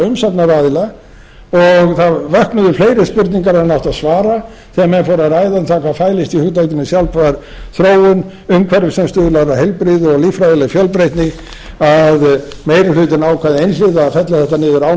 umsagnaraðila og það vöknuðu fleiri spurningar en átti að svara þegar menn fóru að ræða um hvað fælist í hugtakinu sjálfbær þróun umhverfi sem stuðlar að heilbrigði og líffræðileg fjölbreytni að meiri hlutinn ákvað einhliða að fella þetta niður án